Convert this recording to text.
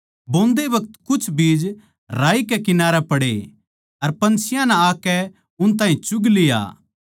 बोंदे बखत कुछ राही कै किनारै पड़े अर पन्छियाँ नै आकै उन ताहीं चुग लिया